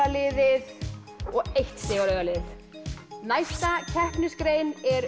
liðið og eitt stig á rauða liðið næsta keppnisgrein er